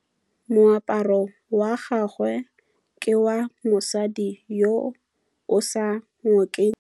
Moaparô wa gagwe ke wa mosadi yo o sa ngôkeng kgatlhegô.